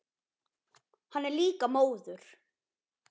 Hann er líka móður.